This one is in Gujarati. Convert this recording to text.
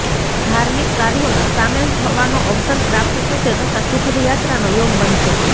ધાર્મિક કાર્યોમાં સામેલ થવાનો અવસર પ્રાપ્ત થશે તથા સુખદ યાત્રાનો યોગ બનશે